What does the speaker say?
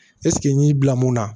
n y'i bila mun na